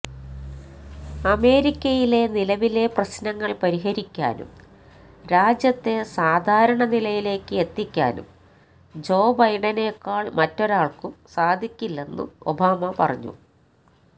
അമേരിക്കയിലെ നിലവിലെ പ്രശ്നങ്ങൾ പരിഹരിക്കാനും രാജ്യത്തെ സാധാരണ നിലയിലേക്ക് എത്തിക്കാനും ജോ ബൈഡനെക്കാൾ മറ്റൊരാൾക്കും സാധിക്കില്ലെന്നും ഒബാമ പറഞ്ഞു